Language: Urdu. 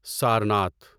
سارناتھ